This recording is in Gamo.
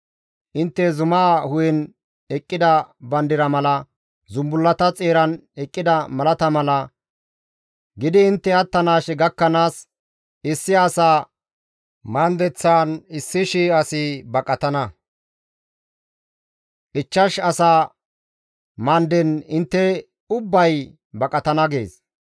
Intte zuma hu7en eqqida bandira mala zumbullata xeeran eqqida malata mala gidi intte attanaashe gakkanaas issi asa mandeththan 1,000 asi baqatana; ichchash asa mandeththan intte ubbay baqatana» gees.